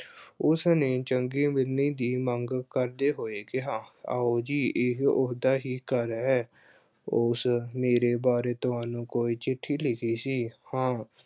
ਉਸਨੇ ਚੰਗੇ ਬੰਦੇ ਦੀ ਮੰਗ ਕਰਦੇ ਹੋਏ ਕਿਹਾ ਆਓ ਜੀ ਇਹੇ ਉਸਦਾ ਹੀ ਘਰ ਹੈ। ਉਸ ਮੇਰੇ ਬਾਰੇ ਤੁਹਾਨੂੰ ਕੋਈ ਚਿੱਠੀ ਲਿਖੀ ਸੀ? ਹਾਂ